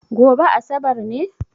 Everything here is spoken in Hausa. Gobe asabar ne?